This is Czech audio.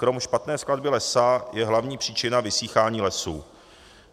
Krom špatné skladby lesa je hlavní příčina vysychání lesů.